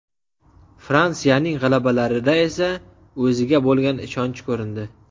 Fransiyaning g‘alabalarida esa o‘ziga bo‘lgan ishonch ko‘rindi.